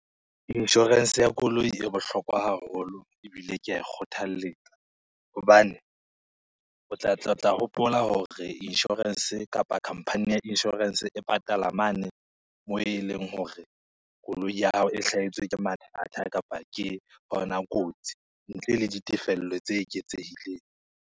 Insurance ya koloi e bohlokwa haholo ebile ke a e kgothalletsa hobane, o tla hopola hore insurance kapa khampani ya insurance e patala mane moo e leng hore koloi ya hao e hlahetswe ke mathata kapa ke kotsi, ntle le ditefello tse eketsehileng.